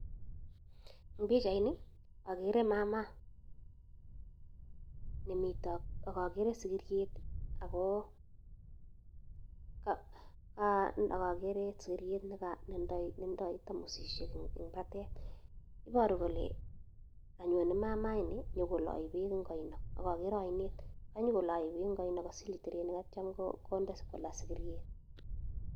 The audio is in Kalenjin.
En pichaini ogere maama nemiten ak ogere sigiriet netido tomosishek en batai. Iboru kole kanyone maama ini konyokoloe beek en oinet. Ak ogere oinet. Ak nyo koloe beek en oinet kosile terneik ak kityo konde kolaa sigiryet.